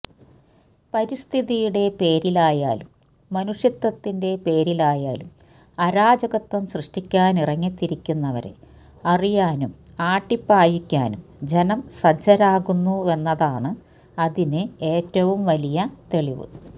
പരിസ്ഥിതിയുടെ പേരിലായാലും മനുഷ്യത്വത്തിന്റെ പേരിലായാലും അരാജകത്വം സൃഷ്ടിക്കാനിറങ്ങിത്തിരിക്കുന്നവരെ അറിയാനും ആട്ടിപ്പായിക്കാനും ജനം സജ്ജരാകുന്നുവെന്നതാണ് അതിന് ഏറ്റവും വലിയ തെളിവ്